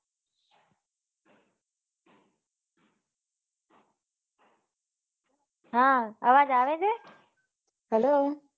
હા અવાજ આવે છે hello